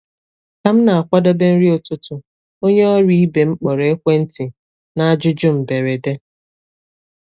Ka m na-akwadebe nri ụtụtụ, onye ọrụ ibe m kpọrọ ekwentị na ajụjụ mberede.